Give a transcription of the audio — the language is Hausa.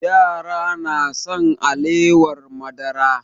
Yara na son alewar madara